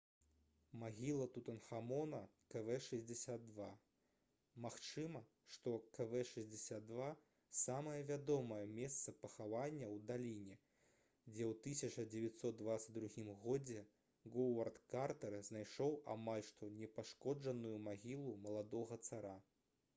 магіла тутанхамона kv62. магчыма што kv62 — самае вядомае месца пахавання ў даліне дзе ў 1922 годзе говард картэр знайшоў амаль што непашкоджаную магілу маладога цара